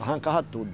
Arrancava tudo.